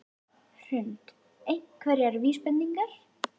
Hrund: Einhverjar vísbendingar?